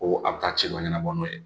Ko a ka ci ma ɲɛnɛbɔ n'o ye.